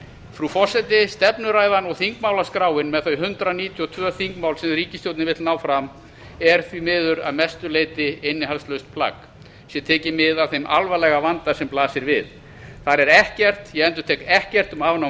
frú forseti stefnuræðan og þingmálaskráin með þau hundrað níutíu og tvö þingmál sem ríkisstjórnin vill ná fram er því miður að mestu leyti innihaldslaust plagg sé tekið mið af þeim alvarlega vanda sem blasir við þar er ekkert ég endurtek ekkert um afnám